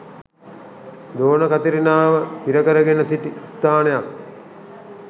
දෝන කතිරිනාව සිරකරගෙන සිටි ස්ථානයක්